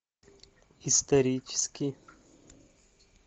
исторический